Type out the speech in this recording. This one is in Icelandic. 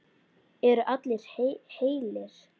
Eru allir heilir?